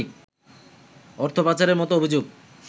অর্থ পাচারের মতো অভিযোগ